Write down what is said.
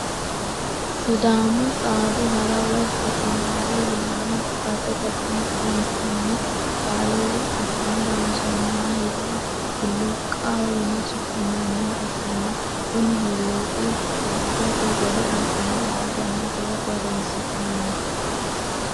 Siddamu xaadu hara woyi gudumaale yinanni baseti kuni kinchunni qalle asine looonsonniha hiluuqaho yine suminnanniha ikkanna kuni huuluuqi furichote gede assine e'atenna fulate horonsinnanni